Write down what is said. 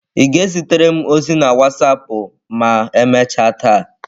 Ị ga-ezitere m ozi na wasapụ ma emechaa taa?